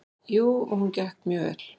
Jú, og hún gekk mjög vel.